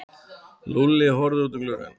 Lúlli horfði út um gluggann.